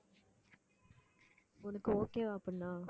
உனக்கு okay வா அப்படின்னா